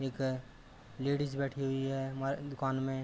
Ladies बैठी हुई है दुकान में।